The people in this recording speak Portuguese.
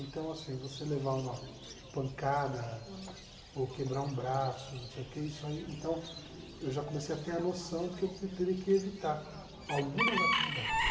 Então, assim, você levar uma pancada. Aham. Ou quebrar um braço, não sei o quê, isso aí... Então, eu já comecei a ter a noção de que eu te teria que evitar algumas atividades.